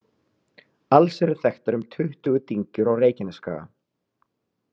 Alls eru þekktar um tuttugu dyngjur á Reykjanesskaga.